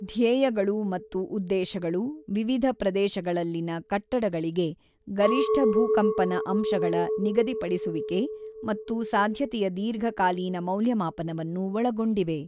ಧ್ಯೇಯಗಳು ಮತ್ತು ಉದ್ದೇಶಗಳು ವಿವಿಧ ಪ್ರದೇಶಗಳಲ್ಲಿನ ಕಟ್ಟಡಗಳಿಗೆ ಗರಿಷ್ಠ ಭೂಕಂಪನ ಅಂಶಗಳ ನಿಗದಿಪಡಿಸುವಿಕೆ ಮತ್ತು ಸಾಧ್ಯತೆಯ ದೀರ್ಘಕಾಲೀನ ಮೌಲ್ಯಮಾಪನವನ್ನು ಒಳಗೊಂಡಿವೆ.